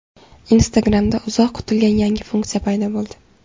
Instagram’da uzoq kutilgan yangi funksiya paydo bo‘ldi.